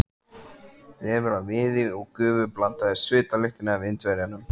Þefur af viði og gufu blandaðist svitalyktinni af Indverjanum.